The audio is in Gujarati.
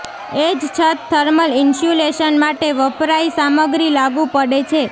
એ જ છત થર્મલ ઇન્સ્યુલેશન માટે વપરાય સામગ્રી લાગુ પડે છે